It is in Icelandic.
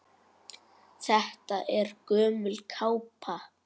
Þetta er gömul kápa.